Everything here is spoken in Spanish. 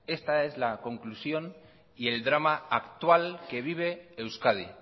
esta es la conclusión y el drama actual que vive euskadi